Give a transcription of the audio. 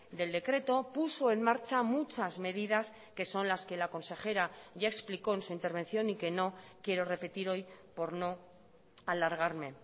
del decreto puso en marcha muchas medidas que son las que la consejera ya explicó en su intervención y que no quiero repetir hoy por no alargarme